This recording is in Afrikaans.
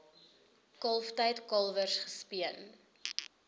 kalftyd kalwers gespeen